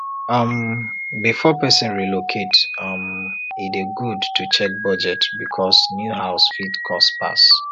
um before person relocate um e dey good to check budget because new house fit cost pass